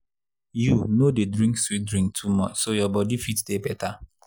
you no dey drink sweet drink too much so your body fit dey better.